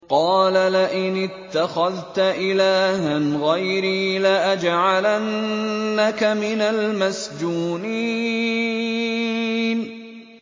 قَالَ لَئِنِ اتَّخَذْتَ إِلَٰهًا غَيْرِي لَأَجْعَلَنَّكَ مِنَ الْمَسْجُونِينَ